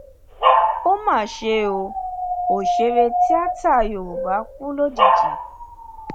ó mà ṣe o òṣèré tìata yorùbá kú lójijì